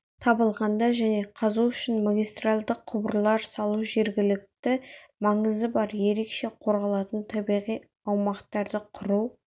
табылғанда және қазу үшін магистральды құбырлар салу жергілікті маңызы бар ерекше қорғалатын табиғи аумақтарды құру